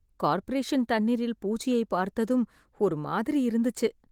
corporation தண்ணீரில் பூச்சியைப் பார்த்ததும் ஒரு மாதிரி இருந்துச்சு